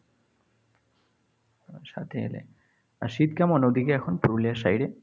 তারা সাথে এলে, আর শীত কেমন ওদিকে এখন পুরুলিয়ার side এ।